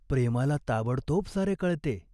प्रेमाला ताबडतोब सारे कळते.